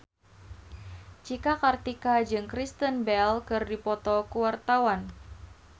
Cika Kartika jeung Kristen Bell keur dipoto ku wartawan